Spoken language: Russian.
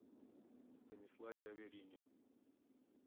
станиславе аверине